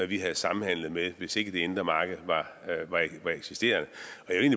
vi havde samhandlet med hvis ikke det indre marked eksisterede